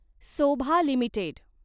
Sobha limited